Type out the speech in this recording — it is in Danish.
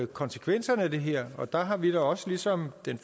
konsekvenserne af det her er og der har vi da også ligesom den